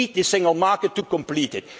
We need the single market to complete